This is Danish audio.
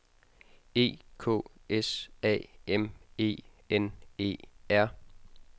E K S A M E N E R